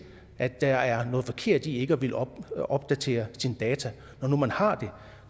at der er noget forkert i ikke at ville opdatere sine data når nu man har dem